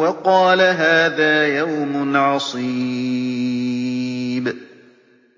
وَقَالَ هَٰذَا يَوْمٌ عَصِيبٌ